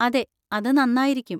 അതെ, അത് നന്നായിരിക്കും.